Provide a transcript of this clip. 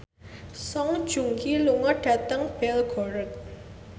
Song Joong Ki lunga dhateng Belgorod